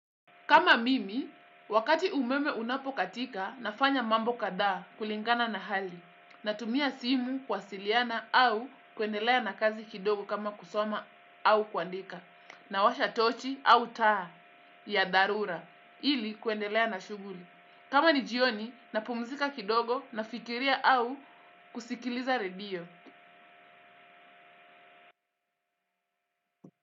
Kama mimi, wakati umeme unapo katika, nafanya mambo kadha. Kulingana na hali. Natumia simu kuwasiliana au kuendelea na kazi kidogo kama kusoma au kuandika. Nawasha tochi au taa ya dharura, ili kuendelea na shuguli. Kama ni jioni, na pumzika kidogo, nafikiria au kusikiliza redio.